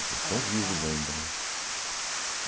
Eles estão vivos ainda, né?